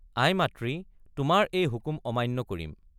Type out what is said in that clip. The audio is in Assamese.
আই মাতৃ তোমাৰ এই হুকুম আমান্য কৰিম।